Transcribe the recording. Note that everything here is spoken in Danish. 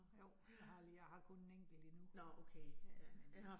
Jo, jeg har lige, jeg har kun en enkelt lige nu. Ja men øh